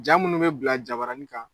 Jaa munnu bɛ bila jaabaranin kan